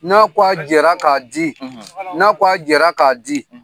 N'a ko a jɛra k'a di n'a jɛra k'a di